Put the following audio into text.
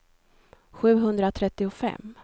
sjuhundratrettiofem